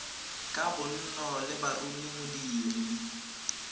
ya bonno ba leruri modiri